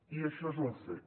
i això és un fet